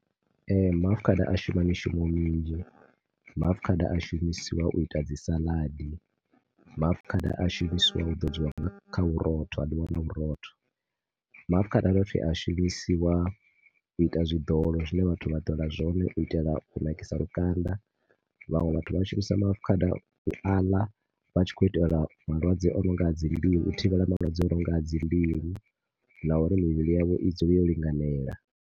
Ee, maafukhada a shuma mishumo minzhi, maafukhada a shumiswa u ita dzi salad, maafukhada a shumisiwa u ḓodziwa nga, kha vhurotho, a ḽiwa na vhurotho. Maafukhada a dovha futhi a shumisiwa u ita zwiḓolo zwine vhathu vha ḓola zwone u itela u nakisa lukanda. Vhaṅwe vha shumisa maafukhada u aḽa vha tshi khou itela malwadze ononga dzi u thivhele malwadze unonga na uri mivhili yavho i dzule yo linganea.